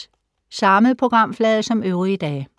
Samme programflade som øvrige dage